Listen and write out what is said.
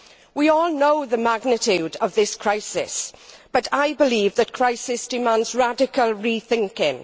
We all know the magnitude of this crisis but I believe that crisis demands radical rethinking